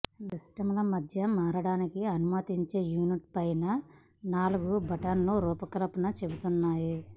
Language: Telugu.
మీ సిస్టమ్ల మధ్య మారడానికి అనుమతించే యూనిట్ పైన నాలుగు బటన్లు రూపకల్పనను చెబుతున్నాయి